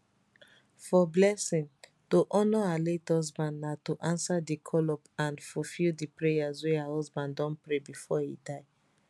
for blessing to honour her late husband na to ansa di call up and fulfil di prayers wey her husband don pray bifor e die